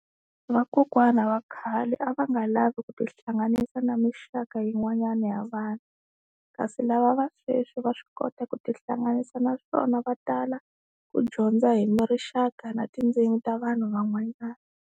Vakokwana va khale a va nga lavi ku tihlanganisa na muxaka yin'wanyana ya vanhu kasi lava va sweswi va swi kota ku tihlanganisa naswona va tala ku dyondza hi rixaka na tindzimi ta vanhu van'wanyana.